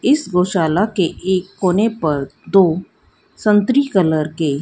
इस गौशाला के एक कोने पर दो संत्री कलर के--